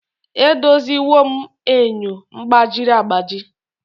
Edoziwo m enyo gbajiri agbaji